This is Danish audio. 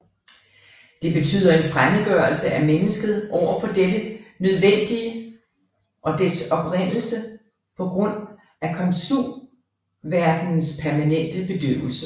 Det betyder en fremmedgørelse af mennesket over for dette nødvendige og dets oprindelse på ģrund af komsumverdenens permanente bedøvelse